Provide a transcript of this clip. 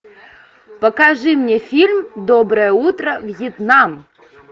покажи мне фильм доброе утро вьетнам